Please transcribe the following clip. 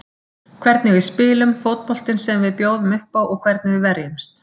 Hvernig við spilum, fótboltinn sem við bjóðum uppá og hvernig við verjumst.